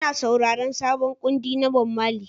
Ina sauraron sabon kundi na Bob Marley